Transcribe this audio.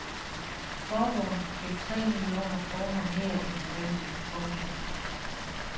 Forbund fik tre millioner kroner mere end forventet. punktum